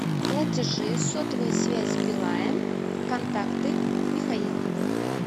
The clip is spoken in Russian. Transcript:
платежи сотовая связь билайн контакты михаил